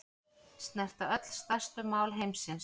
Snerta öll stærstu mál heimsins